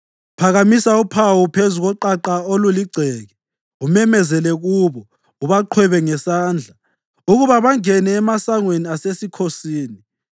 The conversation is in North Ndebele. Phakamisa uphawu phezu koqaqa oluligceke, umemezele kubo, ubaqhwebe ngesandla ukuba bangene emasangweni asesikhosini.